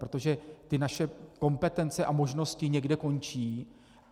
Protože ty naše kompetence a možnosti někde končí.